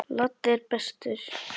Laddi er bestur.